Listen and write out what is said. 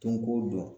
Don kow dɔn